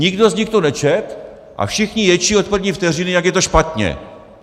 Nikdo z nich to nečetl a všichni ječí od první vteřiny, jak je to špatně.